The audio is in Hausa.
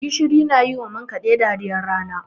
Gishiri na yi wa man kaɗe dariyar rana.